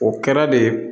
O kɛra de